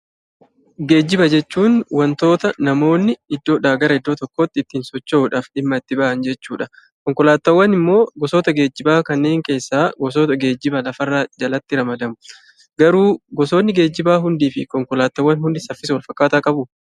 Geejjiba jechuun wantoota namoonni iddoodhaa gara iddoo tokkootti socho'uuf dhimmaa itti bahan jechuudha. Konkolaataawwan immoo gosoota geejjibaa kanneen keessaa geejjiba lafa irraa jalatti ramadamu. Garuu, gosoonni geejjibaa hundii fi konkolaataawwan hundi saffisa walfakkaataa qabuu?